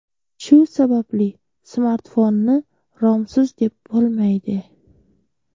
Shu sababli smartfonni romsiz deb bo‘lmaydi.